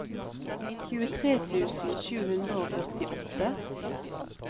tjuetre tusen sju hundre og førtiåtte